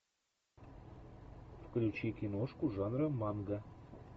включи киношку жанра манга